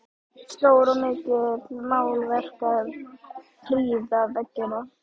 Stór og mikil málverk prýða veggina.